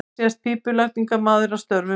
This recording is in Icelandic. Hér sést pípulagningamaður að störfum.